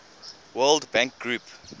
world bank group